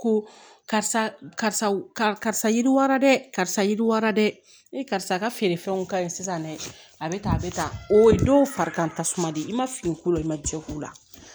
Ko karisa yiriwara dɛ karisa yiriwara dɛ ee karisa ka feerefɛnw ka ɲi sisan dɛ a bɛ tan a bɛ tan o ye dɔw farikantasuma di i ma fini ko la i ma cɛ ko la